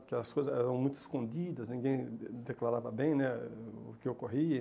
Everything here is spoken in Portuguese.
Porque as coisas eram muito escondidas, ninguém declarava bem né o o que ocorria.